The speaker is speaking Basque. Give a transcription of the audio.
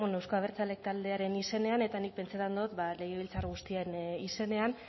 euzko abertzalek taldearen izenean eta nik pentsetan dot legebiltzar guztien izenean